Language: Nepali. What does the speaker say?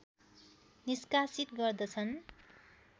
निष्कासित गर्दछन्